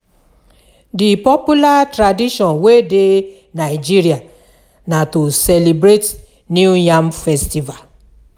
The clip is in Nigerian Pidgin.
Di popular tradition wey de nigeria na to celebrate new yam festival